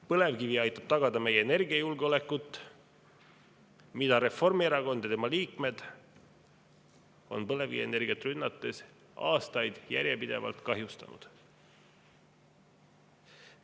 Põlevkivi aitab tagada meie energiajulgeolekut, mida Reformierakond ja tema liikmed on põlevkivienergiat rünnates aastaid järjepidevalt kahjustanud.